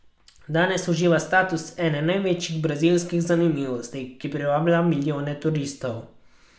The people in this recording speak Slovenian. Danes uživa status ene največjih brazilskih zanimivosti, ki privablja milijone turistov.